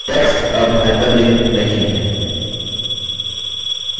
text अब hyperlinked नहीं है